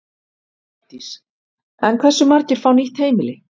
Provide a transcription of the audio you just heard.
Hjördís: En hversu margir fá nýtt heimili?